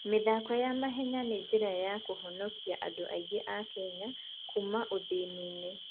mĩthako ya mahenya nĩ njĩra ya kũhonokia andũ aingĩ a Kenya kuuma ũthĩni-inĩ.